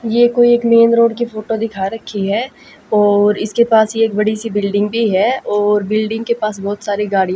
ये कोई एक मैन रोड की फोटो दिखा रखी है और इसके पास ही बड़ी सी बिल्डिंग भी हैं और बिल्डिंग के पास बहोत सारी गाड़ियां --